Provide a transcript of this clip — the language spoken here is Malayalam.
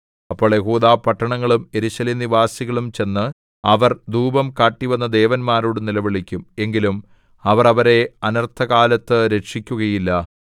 അപ്പോൾ യെഹൂദാപട്ടണങ്ങളും യെരൂശലേം നിവാസികളും ചെന്ന് അവർ ധൂപം കാട്ടിവന്ന ദേവന്മാരോടു നിലവിളിക്കും എങ്കിലും അവർ അവരെ അനർത്ഥകാലത്തു രക്ഷിക്കുകയില്ല